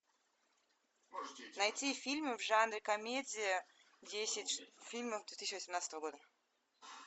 найти фильмы в жанре комедия десять фильмов две тысячи восемнадцатого года